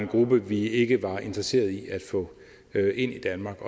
en gruppe vi ikke var interesseret i at få ind i danmark